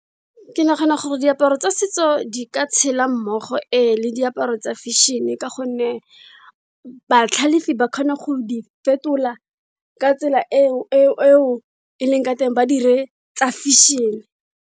Ke nagana gore diaparo tsa setso di ka tshela mmogo e, le diaparo tsa fashion-e ka gonne batlhalifi ba kgona go di fetola ka tsela eo e leng ka teng ba dire tsa fashion-e.